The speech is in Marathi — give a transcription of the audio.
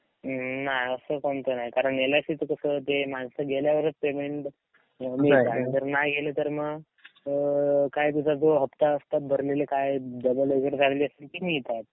नाय असं कोणतं नाय कारण एल आय सी च कस ते माणसं गेल्यावरच पेयमेन्ट जर नाय गेले तर म अअ काय तुझा जो हप्ता असतात भरलेले काय डबल वगैरे झालेले ते मिळतात.